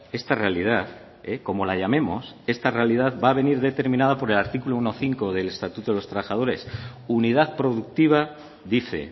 esta realidad como la llamemos esta realidad va a venir determinada por el artículo uno punto cinco del estatuto de los trabajadores unidad productiva dice